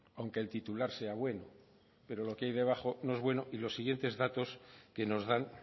aunque el titular sea bueno pero lo que hay debajo no es bueno y los siguientes datos que nos dan